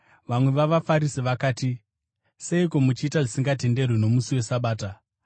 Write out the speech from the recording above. Vamwe vavaFarisi vakati, “Seiko muchiita zvisingatenderwi nomusi weSabata?”